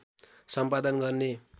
सम्पादन गर्ने